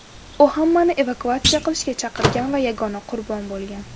U hammani evakuatsiya qilishga chaqirgan va yagona qurbon bo‘lgan.